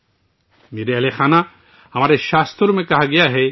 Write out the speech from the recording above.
میرے پیارے اہلِ خانہ، ہمارے صحیفوں میں کہا گیا ہے